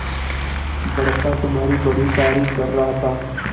बड़का तुम्हारी बड़ी तारीफ कर रहा था